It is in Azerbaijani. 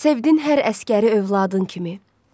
Sevdin hər əsgəri övladın kimi.